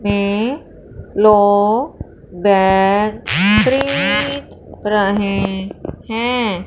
रहे हैं।